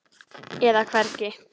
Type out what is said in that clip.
eða hvergi.